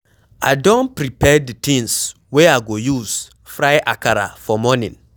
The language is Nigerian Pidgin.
I dey prepare the things wey I go use fry akara for morning.